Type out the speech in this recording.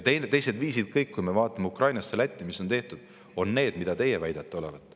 Kõik teised viisid, mida on kasutatud Ukrainas ja Lätis, on sellised, mida teie väidate olevat.